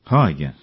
ହଁ ଆଜ୍ଞା